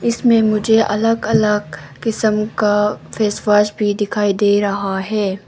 इसमें मुझे अलग अलग किसम का फेस वॉश भी दिखाई दे रहा है।